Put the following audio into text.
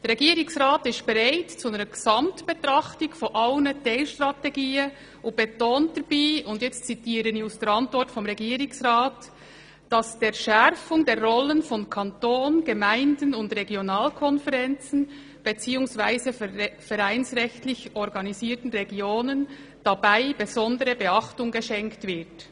Er ist bereit, eine Gesamtbetrachtung aller Teilstrategien vorzunehmen und betont, dass dabei «der Schärfung der Rollen von Kanton, Gemeinden und Regionalkonferenzen bzw. vereinsrechtlich organisierten Regionen [...] besondere Beachtung geschenkt» wird.